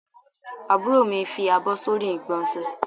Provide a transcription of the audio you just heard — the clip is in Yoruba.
Àbúrò mi fi àbọ̀ sórí igbonse